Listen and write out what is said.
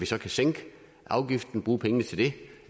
så kan sænke afgiften bruge pengene til det